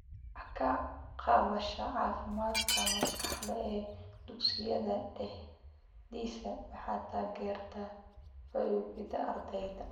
Wax ka qabashada caafimaadka maskaxda ee dugsiyada dhexdiisa waxay taageertaa fayoobida ardayga.